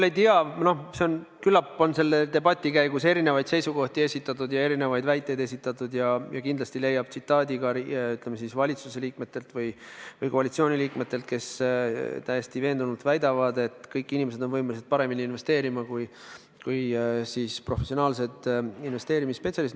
Ma ei tea, küllap on selle debati käigus erinevaid seisukohti ja erinevaid väiteid esitatud ja kindlasti leiab mõne tsitaadi ka valitsuse või koalitsiooni liikmetelt, kes täiesti veendunult väidavad, et kõik inimesed on võimelised paremini investeerima kui professionaalsed investeerimisspetsialistid.